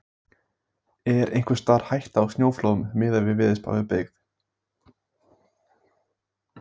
Hafþór Gunnarsson: Er einhvers staðar hætta á snjóflóðum miðað við veðurspá við byggð?